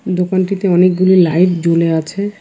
দোকানটিতে অনেকগুলি লাইট জ্বলে আছে।